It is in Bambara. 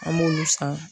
An b'olu san